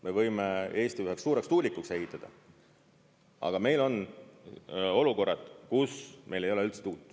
Me võime Eesti üheks suureks tuulikuks ehitada, aga meil on olukorrad, kus meil ei ole üldse tuult.